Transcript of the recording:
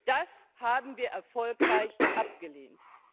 Das haben wir erfolgreich abgelehnt.